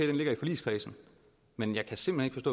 den ligger i forligskredsen men jeg kan simpelt